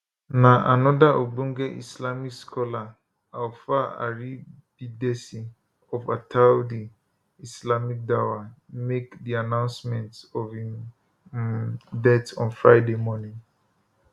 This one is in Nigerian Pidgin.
na anoda ogbonge islamic scholar alfa aribidesi of attawdeeh islamic daawah make di announcement of im um death on friday morning